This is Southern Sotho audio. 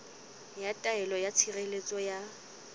ya taelo ya tshireletso ya